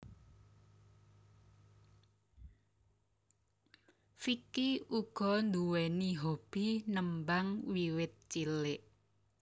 Vicky uga nduwèni hobi nembang wiwit cilik